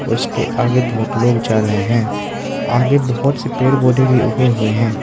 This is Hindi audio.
इसके आगे बहोत लोग जा रहें हैं आगे बहोत से पेड़ पौधे भी उगे हुए हैं।